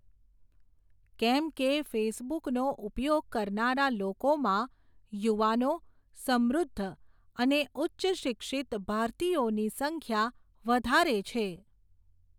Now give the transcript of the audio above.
કેમ કે ફેસબુકનો ઉપયોગ કરનારા લોકોમાં, યુવાનો, સમૃદ્ધ અને ઉચ્ચ શિક્ષિત ભારતીયોની સંખ્યા વધારે છે.